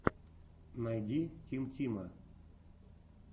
найди тим тима